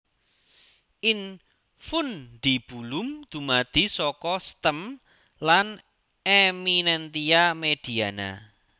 Infundibulum dumadi saka stem lan eminentia mediana